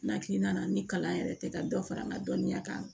N hakilina na ni kalan yɛrɛ tɛ ka dɔ fara n ka dɔnniya kan